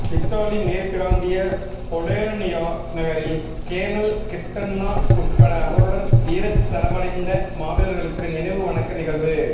Italy மேற்பிராந்திய Bologna நகரில் colonel Kittanna உட்பட அவருடன் வீரச்சரவடைந்த மாவீரர்களுக்கு நினைவு வணக்க நிகழ்வு